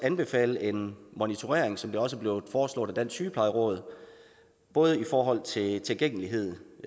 anbefale en monitorering som det også er blevet foreslået af dansk sygeplejeråd både i forhold til tilgængelighed